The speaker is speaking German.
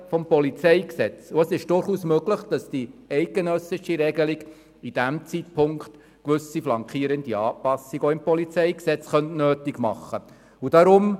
des PolG. Es ist durchaus möglich, dass die eidgenössische Regelung zu diesem Zeitpunkt auch im PolG gewisse flankierende Anpassungen nötig machen könnte.